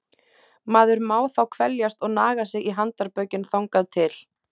Maður má þá kveljast og naga sig í handarbökin þangað til!